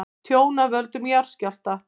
Tjón af völdum jarðskjálfta